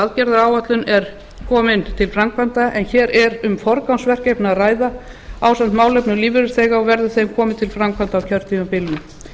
aðgerðaáætlunin er komin til framkvæmda en hér er um forgangsverkefni að ræða ásamt málefnum lífeyrisþega og verður þeim komið til framkvæmda á kjörtímabilinu